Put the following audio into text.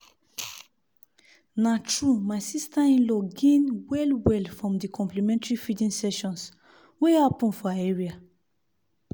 na true my sister-in-law gain well-well from the complementary feeding sessions wey happen for her area.